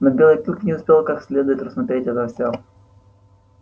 но белый клык не успел как следует рассмотреть это всё